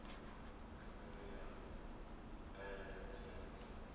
khumbelo ya ndaela ya tsireledzo